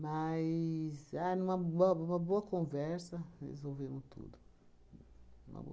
Mas, ah numa bo bo boa conversa, resolvemos tudo. Numa boa